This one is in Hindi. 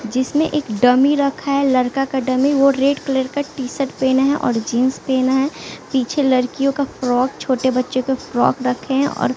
जिसमें एक डमी रखा है लड़का का डमी वो रेड कलर का टी शर्ट पेना है और जींस पेना है पीछे लड़कियों का फ्रॉक छोटे बच्चों का फ्रॉक रखे हैं और --